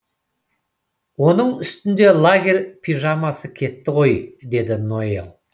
оның үстінде лагерь пижамасы кетті ғой деді ноэль